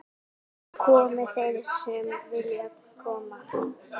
Komi þeir sem koma vilja.